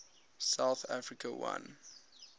south africa won